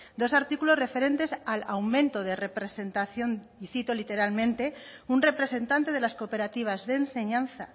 dos artículos referentes al aumento de representación y cito literalmente un representante de las cooperativas de enseñanza